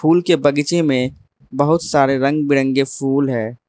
फूल के बगीचे में बहुत सारे रंग बिरंगे फूल है।